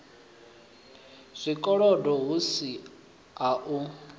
zwikolodo hu si u a